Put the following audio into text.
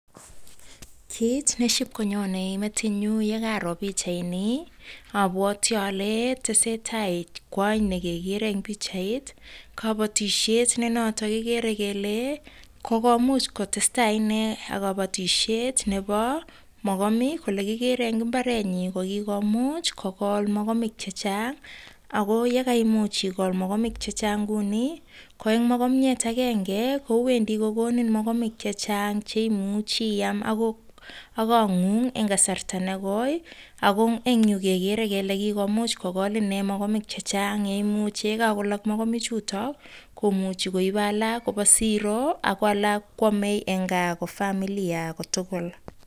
Kiit neshipkonyonei metinyu yekaro pitchaini abwati ale tese tai kwony nekekere eng' pitchait kabatishet nenoto kekere kele muuch kotestai ine ak kabatishet nebo mokomik ale kikere eng' mbarenyu ko kikomuuch kokol mokomik chechang' ako yekaimuch ikol mokomik chechang' kou nii ko eng' mokomyet agenge kowendi kokonin mokomik chechang' cheimuchi iyam ak kong'ung eng' kasarta negoi ako eng' yu kekere kele kikomuuch kokol inee mokomik chechang' ye imuuchi yekakolok mokomichuto komuchi koib alak koba siro ako alak koamei eng' kaa ko familia kotugul